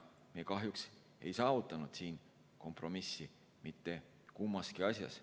Me kahjuks ei saavutanud kompromissi mitte kummaski asjas.